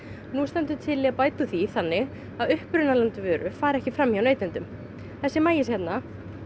nú stendur til að bæta úr því þannig að upprunaland vöru fari ekki fram hjá neytendum þessi maís hérna